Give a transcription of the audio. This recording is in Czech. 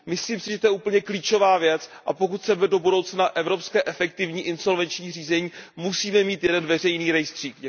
Myslím si, že to je úplně klíčová věc a pokud chceme do budoucna evropské efektivní insolvenční řízení, musíme mít jeden veřejný rejstřík.